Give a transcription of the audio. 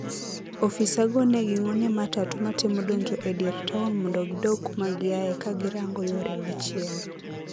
Ofisago negingne matatu matemo donjo e dier town mondo kidog kumagiaye kagirango yore machielo.